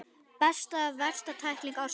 Besta eða versta tækling ársins?